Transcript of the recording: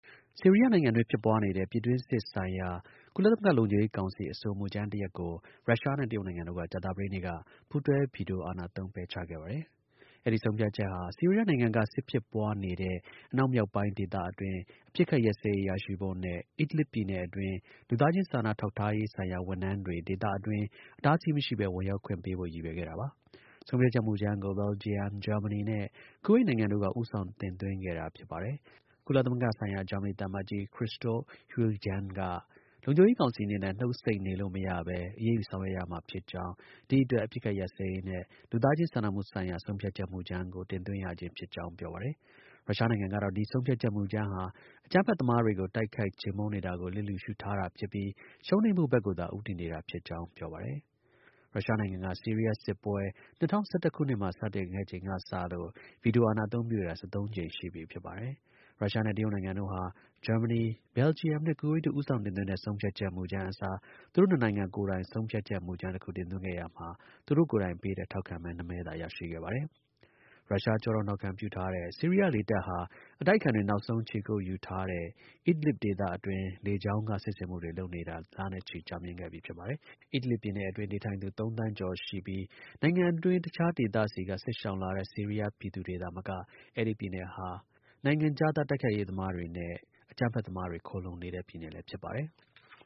ဆီရီးယားနိုင်ငံအတွင်း ဖြစ်ပွားနေတဲ့ ပြည်တွင်းစစ်ဆိုင်ရာ ကုလသမဂ္ဂ လုံခြုံရေးကောင်စီ ဆုံးဖြတ်ချက် မူကြမ်းကို ရုရှားနဲ့ တရုတ်နိုင်ငံတို့က ကြာသပတေးနေ့က ပူးတွဲ ဗီတိုအာဏာသုံး ပယ်ချခဲ့ပါတယ်။ အဲဒီ ဆုံးဖြတ်ချက်ဟာ ဆီးရီးယားနိုင်ငံက စစ်ဖြစ်ပွားနေတဲ့ အနောက် မြောက်ပိုင်းအတွင်း အပစ်အခတ်ရပ်စဲရေး ရရှိဖို့နဲ့ Idlib ပြည်နယ်အတွင်း လူသားချင်း စာနာ ထောက်ထားရေးဆိုင်ရာ ဝန်ထမ်းတွေ ဒေသ အတွင်း အတားအဆီး မရှိဘဲ ဝင်ရောက်ခွင့်ပေးဖို့ ရည်ရွယ်ခဲ့တာပါ။ ဆုံးဖြတ်ချက် မူကြမ်းကို ဘယ်လ်ဂျီယံ၊ ဂျာမနီနဲ့ ကူဝိတ်နိုင်ငံတို့က ဦးဆောင် တင်သွင်းခဲ့တာ ဖြစ်ပါတယ်။ ကုလသမဂ္ဂဆိုင်ရာ ဂျာမနီသံအမတ်ကြီး Christoph Heusgen က လုံခြုံရေးကောင်စီအနေနဲ့ နှုတ်ဆိတ်နေလို့ မရဘဲ အရေးယူ ဆောင်ရွက်ရမှာဖြစ်ကြောင်း ဒီအတွက် အပစ်အခတ် ရပ်စဲရေးနဲ့ လူသားချင်း စာနာမှုဆိုင်ရာ ဆုံးဖြတ်ချက် မူကြမ်းကို တင်သွင်းရခြင်း ဖြစ်ကြောင်း ပြောပါတယ်။ ရုရှားနိုင်ငံကတော့ ဒီ ဆုံးဖြတ်ချက်မူကြမ်းဟာ အကြမ်းဖက်သမားတွေကို တိုက်ခိုက်ချေမှုန်းနေတာကို လစ်လျှူရှုထားတာဖြစ်ပြီး ရှုံးနိမ့်ဖို့ဘက်ကိုသာ ဦးတည်နေခဲ့တာဖြစ်ကြောင်း ပြောပါတယ်။ ရုရှားနိုင်ငံဟာ ဆီရီးယား စစ်ပွဲ ၂၀၁၁ ခုနှစ်မှာ စတင်ခဲ့ချိန်ကစလို့ ဗီတိုအာဏာ အသုံးပြုခဲ့တာ ၁၃ ကြိမ် ရှိခဲ့ပြီဖြစ်ပါတယ်။ ရုရှားနဲ့ တရုတ်နိုင်ငံတို့ဟာ ဂျာမနီ၊ ဘယ်လ်ဂျီယံနဲ့ ကူဝိတ်တို့ ဦးဆောင်တင်သွင်းတဲ့ ဆုံဖြတ်ချက် မူကြမ်းအစား သူတို့ နှစ်နိုင်ငံကိုယ်တိုင် ဆုံးဖြတ်ချက် မူကြမ်း တစ်ခု တင်သွင်းခဲ့ရာမှာ သူတို့ကိုယ်တိုင်ပေးတဲ့ ထောက်ခံမဲ နှစ်မဲသာ ရရှိခဲ့ပါတယ်။ ရုရှား ကျောထောက်နောက်ခံပြုထားတဲ့ ဆီရီးယား လေတပ်ဟာ အတိုက်အခံတွေ နောက်ဆုံး ခြေကုတ်ယူထားတဲ့ Ildib ဒေသအတွင်း လေကြောင်းက စစ်ဆင်မှုတွေ လုပ်နေတာ လနဲ့ချီ ကြာမြင့် ခဲ့ပြီဖြစ်ပါတယ်။ Ildib ပြည်နယ်အတွင်း နေထိုင်သူ ၃ သန်းရှိကျော် ရှိပြီး နိုင်ငံ အတွင်း တစ်ခြား ဒေသတွေဆီက စစ်ရှောင်လာတဲ့ ဆီရီးယားပြည်သူတွေသာမက အဲဒီ ပြည်နယ်ဟာ နိုင်ငံခြားသား တိုက်ခိုက်ရေးသမား များနဲ့ အကြမ်းဖက် သမားမှာ ခိုလှုံနေတဲ့ ပြည်နယ်လည်း ဖြစ်ပါတယ်။